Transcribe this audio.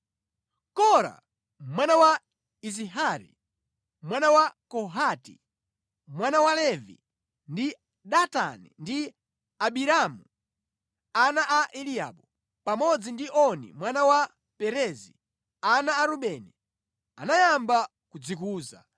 Kora mwana wa Izihari, mwana wa Kohati, mwana wa Levi ndi Datani ndi Abiramu ana a Eliabu, pamodzi ndi Oni mwana wa Perezi, ana a Rubeni, anayamba kudzikuza,